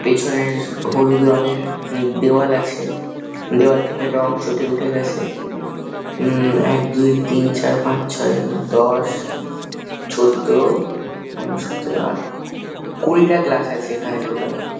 পেছনের হলুদ রঙের দেওয়াল আছে দেওয়াল থেকে রং চটে উঠে গেছে উম- ম এক দুই তিন চার পাঁচ ছয় দশ চোদ্দ পনেরো সতেরো আট কুড়িটা গ্লাস আছে এখানে টোটাল ।